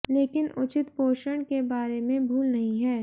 लेकिन उचित पोषण के बारे में भूल नहीं है